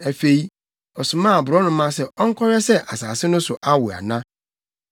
Afei, ɔsomaa aborɔnoma sɛ ɔnkɔhwɛ sɛ asase no so awo ana.